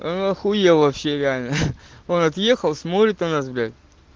ахуел вообще реально он отъехал смотрит на нас блять